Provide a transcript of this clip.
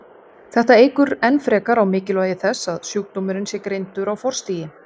þetta eykur enn frekar á mikilvægi þess að sjúkdómurinn sé greindur á forstigi